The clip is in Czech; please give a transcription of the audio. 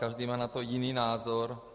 Každý má na to jiný názor.